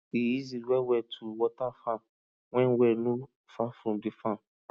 e easy well well to water farm when well no far from di farm